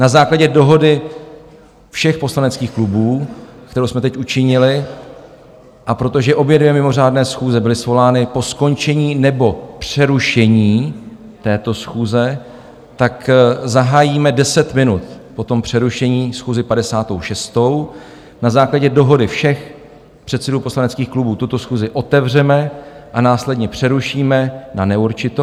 Na základě dohody všech poslaneckých klubů, kterou jsme teď učinili, a protože obě dvě mimořádné schůze byly svolány po skončení nebo přerušení této schůze, tak zahájíme deset minut po tom přerušení schůzi 56., na základě dohody všech předsedů poslaneckých klubů tuto schůzi otevřeme a následně přerušíme na neurčito.